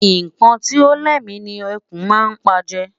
Nnkan Ti o lémi ni ẹkùn má n pa je